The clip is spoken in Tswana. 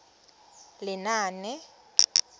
lenaane